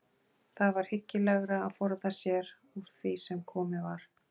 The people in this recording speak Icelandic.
Það var hyggilegra að forða sér úr því sem komið var!